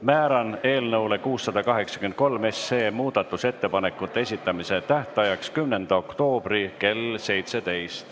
Määran eelnõu 683 muudatusettepanekute esitamise tähtajaks 10. oktoobri kell 17.